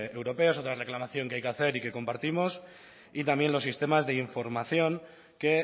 europeos otra reclamación que hay que hacer y que compartimos y también los sistemas de información que